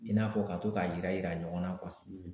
I n'a fɔ ka to k'a yira yira ɲɔgɔn na kuwa